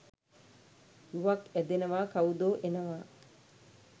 රුවක් ඇදෙනවා කවුදෝ එනවා